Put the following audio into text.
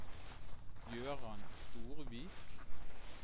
Jøran Storvik